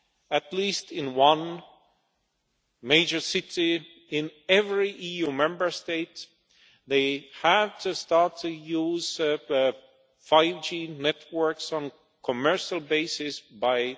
in at least one major city in every EU Member State, they have to start to use 5G networks on a commercial basis by